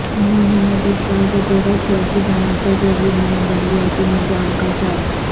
انہوں نے مزید کہا کہ دیگرسیاسی جماعتوں کو بھی نئے بلدیاتی نظام کا سات